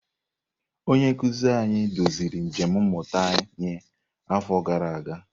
Onye nkuzi anyị duziri njem mmụta anyị afọ gara aga.